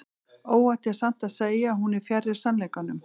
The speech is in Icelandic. óhætt er samt að segja að hún er fjarri sannleikanum